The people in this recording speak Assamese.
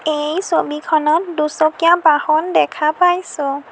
এই ছবিখনত দুচকীয়া বাহন দেখা পাইছোঁ।